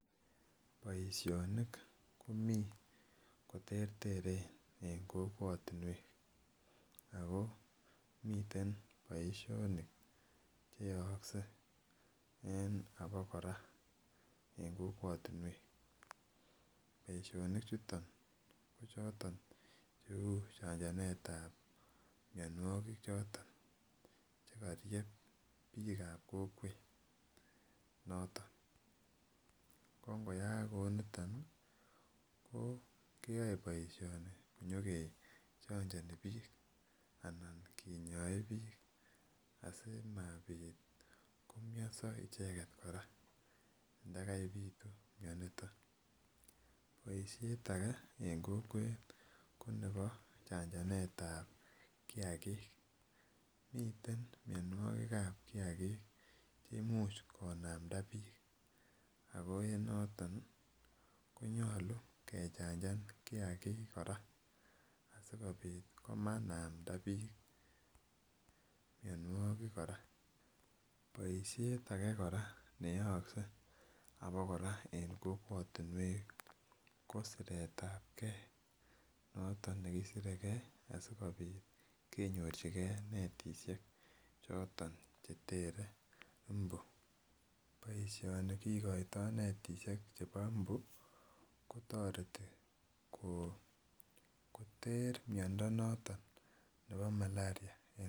Boisionik komi koterteren en kokwotunwek, ago miten boisionik cheyookse en abokora en kokwotinuek, boisionichuton ko choton cheu chanjanet ab mionwogik choton chekoryeb biik ab kokwonoton, ko ngoyaak kouniton ko keyoe boisioni nyogechonjoni biik alan ngokinyoe biik asikobit komomyoso icheget kora ndagaibitu mioniton, boisiet age kora en kokwet ko nebo chanjanet ab kiagik, miten mionwogik ab kiagik cheimuch konamda biik ako enoton konyolu kechanjan kiagik kora asikobit komanamda biik mionwogik kora, boisiet age kora neyookse abokora en kokwotinuek ko siret ab gee noton nekisiregee asikobit kenyorchige netisiek choton cheter mbu, boisioni kigoito netisiek chebo mbu kotoreti koter miondo noton nebo malaria.